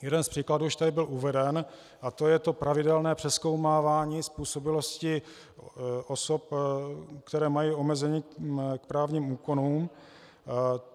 Jeden z příkladů už tady byl uveden, a to je to pravidelné přezkoumávání způsobilosti osob, které mají omezení k právním úkonům.